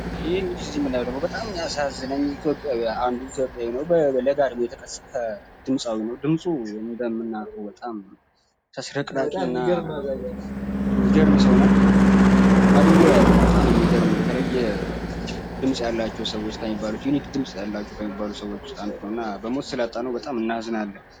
ይህ ደግሞ በጣም የሚያሳዝን አንዱ ኢትዮጵያዊ በለጋ እድሜው የተቀሰፈ ድምጻዊ ነው በጣም ተስረቅራቂና የሚገርም ሰው ነው ማድንጎ ያው ድምጽ ካላቸው ሰዎች በጣም የተለየ እና የሚወደድ ነው።